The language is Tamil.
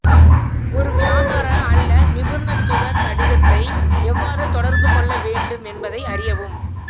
ஒரு வியாபார அல்லது நிபுணத்துவ கடிதத்தை எவ்வாறு தொடர்புகொள்ள வேண்டும் என்பதை அறியவும்